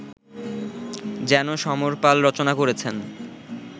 যেন সমর পাল রচনা করেছেন